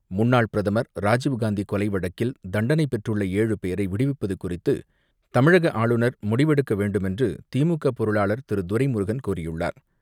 முன்னாள் பிரதமர் ராஜீவ்காந்தி கொலை வழக்கில் தண்டனைப் பெற்றுள்ள ஏழு பேரை விடுவிப்பது குறித்து தமிழக ஆளுநர் முடிவெடுக்க வேண்டுமென்று திமுக பொருளாளார் திரு துரைமுருகன் கூறியுள்ளார்.